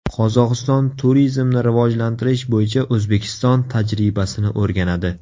Qozog‘iston turizmni rivojlantirish bo‘yicha O‘zbekiston tajribasini o‘rganadi.